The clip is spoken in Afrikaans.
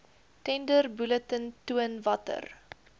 tenderbulletin toon watter